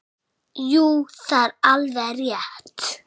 Jú, það er alveg rétt.